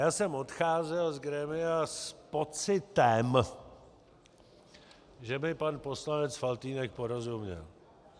Já jsem odcházel z grémia s pocitem, že mi pan poslanec Faltýnek porozuměl.